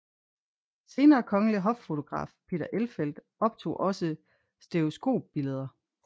Senere kongelig hoffotograf Peter Elfelt optog også stereoskopbilleder